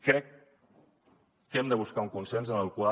crec que hem de buscar un consens en el qual